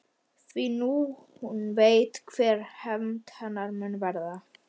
Því nú veit hún hver hefnd hennar mun verða.